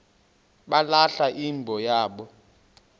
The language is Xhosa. balahla imbo yabo